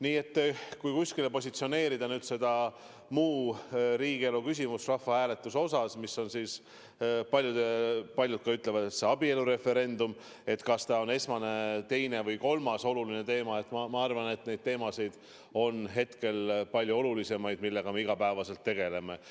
Nii et kui positsioneerida see "muu riigielu küsimus" rahvahääletuse näol, mille kohta paljud ütlevad, et see on abielureferendum, kas see on tähtsuselt esimene, teine või kolmas oluline teema – ma arvan, et hetkel on palju olulisemaid teemasid, millega me iga päev tegelemegi.